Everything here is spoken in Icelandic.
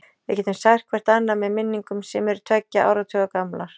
Við getum sært hvert annað með minningum sem eru tveggja áratuga gamlar.